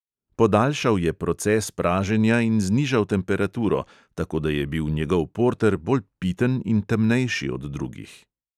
Podaljšal je proces praženja in znižal temperaturo, tako da je bil njegov porter bolj piten in temnejši od drugih.